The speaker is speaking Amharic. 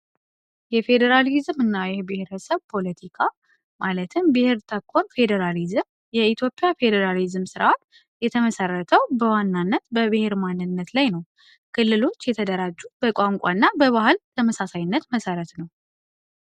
የፌዴራሊዝም እና የብሔር ህሰብ ፖለቲካ ማለትም ብህር ተኮን ፌዴራሊዝም የኢትዮፒያ ፌዴራሊዝም ሥርዓል የተመሠረተው በዋናነት በብሔር ማንነት ላይ ነው። ክልሎች የተደራጁት በቋንቋ እና በባህል ተመሳሳይነት መሠረት ነው።